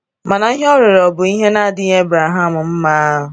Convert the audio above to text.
Mana ihe o rịọrọ bụ bụ ihe na-adịghị Abraham mma.